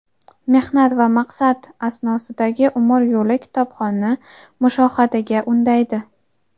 mehnat va maqsad asnosidagi umr yo‘li kitobxonni mushohadaga undaydi.